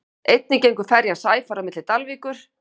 einnig gengur ferjan sæfari á milli dalvíkur